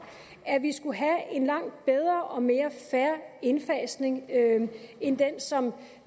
at vi skulle have en langt bedre og mere fair indfasning end den som